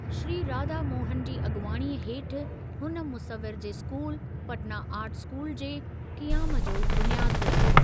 श्री राधा मोहनु जी अॻुवाणीअ हेठि हुन मुसविर जे स्कूल, पटना आर्ट स्कूल जे क़ियाम जो बुनियादु विधो।